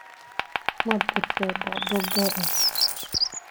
Ma jirtaa dhacdo gaar ah?